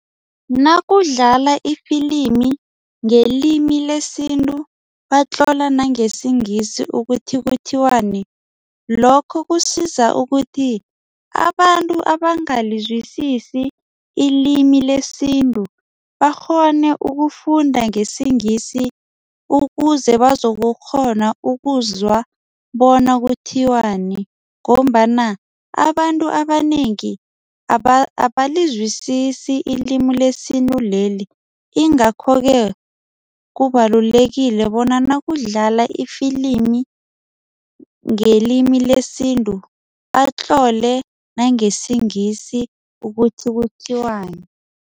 Nakudlala ifilimi ngelimi lesintu batlola nangesiNgisi ukuthi kuthiwani. Lokho kusiza ukuthi abantu abangalizwisisi ilimi lesintu bakghone ukufunda ngesiNgisi ukuze bazokukghona ukuzwa bona kuthiwani ngombana abantu abanengi abalizwisisi ilimi lesintu leli ingakho-ke kubalulekile bona nakudlala ifilimi ngelimi lesintu batlole nangesiNgisi ukuthi kuthiwani.